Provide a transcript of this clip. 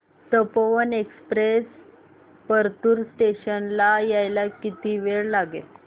Tapovan express Partur station ला यायला किती वेळ लागेल